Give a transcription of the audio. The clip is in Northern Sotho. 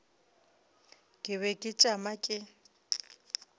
ke be ke tšama ke